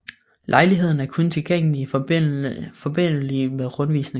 Lejligheden er kun tilgængelig i forbindelig med rundvisninger